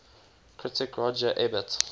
critic roger ebert